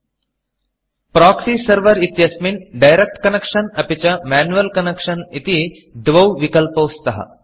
proxy Serverप्रोक्सि setting इत्यस्मिन् direct Connectionडैरेक्ट् कन्नेक्षन् अपि च मैन्युअल् Connectionमेन्युवल् कन्नेक्षन् इति द्वौ विकल्पौ स्तः